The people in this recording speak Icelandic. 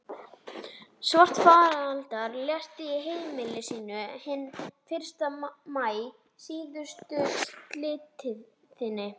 Svarfaðardal, lést á heimili sínu hinn fyrsta maí síðastliðinn.